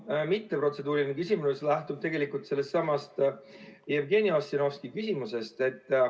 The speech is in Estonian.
Minu mitteprotseduuriline küsimus lähtub tegelikult sellest samast Jevgeni Ossinovski küsimusest.